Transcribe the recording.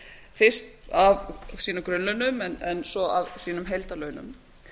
fyrst af sínum grunnlaunum en svo af sínum heildarlaunum